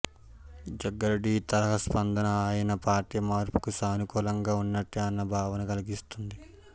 జగ్గారెడ్డి ఈ తరహా స్పందన ఆయన పార్టీ మార్పుకు సానుకూలంగా ఉన్నట్టే అన్న భావన కలిగిస్తుంది